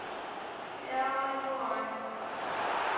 ляоюань